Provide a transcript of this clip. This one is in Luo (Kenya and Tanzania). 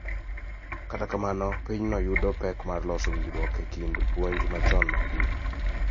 Kata kamano, pinyno yudo pek mar loso winjruok e kind puonj machon mag din .